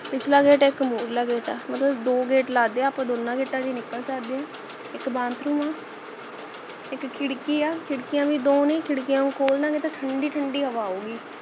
ਪਿਛਲਾ ਗੇਟ ਹੈ ਇਕ ਮੁਰਲਾ ਗੇਟ ਹੈ ਮਤਲਬ ਦੋ ਗੇਟ ਲਗਦੇ ਹੈ ਆਪਾ ਦੋਨਾਂ ਗੇਟਾਂ ਚੋ ਨਿਕਲ ਸਕਦੇ ਹੈ ਇਕ bathroom ਹਾ ਇਕ ਖਿੜਕੀ ਹਾ ਖਿੜਕੀਆਂ ਭੀ ਦੋ ਨੇ ਖਿੜਕੀਆਂ ਨੂੰ ਖੋਲ ਦਾਂਗੇ ਤਾਂ ਠੰਡੀ ਠੰਡੀ ਹਵਾ ਆਊਗੀ